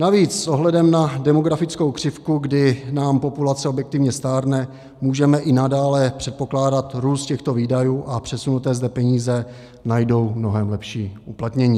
Navíc s ohledem na demografickou křivku, kdy nám populace objektivně stárne, můžeme i nadále předpokládat růst těchto výdajů a přesunuté zde peníze najdou mnohem lepší uplatnění.